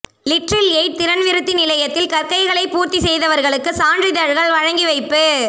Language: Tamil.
லிற்றில் எய்ட் திறன் விருத்தி நிலையத்தில் கற்கைகளை பூர்த்தி செய்தவர்களுக்கு சான்றிதழ்கள் வழங்கி வைப்பு